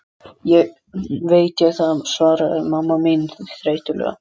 Veit ég það, svaraði mamma þín þreytulega.